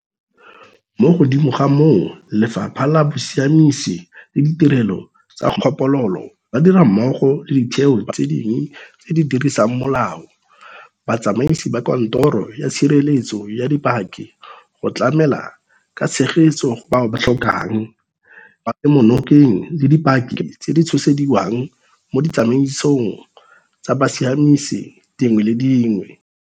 Mo godimo ga moo, Lefapha la Bosiamisi le Ditirelo tsa Kgopololo, ba dira mmogo le ditheo tse dingwe tse di dirisang molao, batsamaisi ba Kantoro ya Tshireletso ya Dipaki go tlamela ka tshegetso go bao ba tlhokang kemonokeng le dipaki tse di tshosediwang mo ditsamaisong tsa bosiamisi dingwe le dingwe.